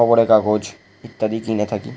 খবরের কাগজ ইত্যাদি কিনে থাকি।